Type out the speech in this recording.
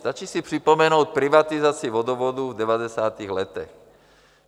Stačí si připomenout privatizaci vodovodů v 90. letech.